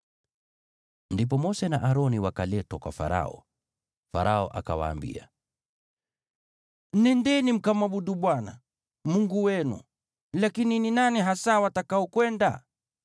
Ndipo Mose na Aroni wakaletwa kwa Farao. Farao akawaambia, “Nendeni, mkamwabudu Bwana Mungu wenu. Lakini ni nani hasa watakaokwenda?”